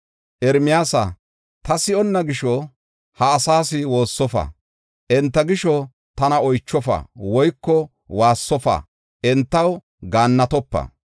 “Ermiyaasa, ta si7onna gisho, ha asaas woossofa; enta gisho tana oychofa woyko waassofa; entaw gaannatopa.